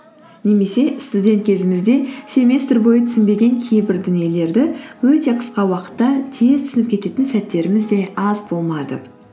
немесе студент кезімізде семестр бойы түсінбеген кейбір дүниелерді өте қысқа уақытта тез түсініп кететін сәттеріміз де аз болмады